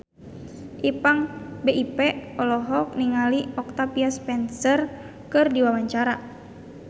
Ipank BIP olohok ningali Octavia Spencer keur diwawancara